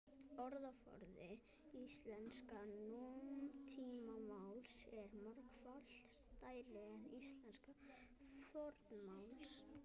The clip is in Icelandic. Orðaforði íslensks nútímamáls er margfalt stærri en íslensks fornmáls.